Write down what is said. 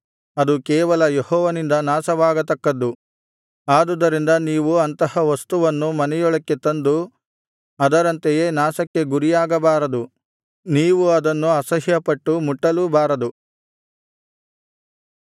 ಅದು ಕೇವಲ ಯೆಹೋವನಿಂದ ನಾಶವಾಗತಕ್ಕದ್ದು ಆದುದರಿಂದ ನೀವು ಅಂತಹ ವಸ್ತುವನ್ನು ಮನೆಯೊಳಕ್ಕೆ ತಂದು ಅದರಂತೆಯೇ ನಾಶಕ್ಕೆ ಗುರಿಯಾಗಬಾರದು ನೀವು ಅದನ್ನು ಅಸಹ್ಯಪಟ್ಟು ಮುಟ್ಟಲೂ ಬಾರದು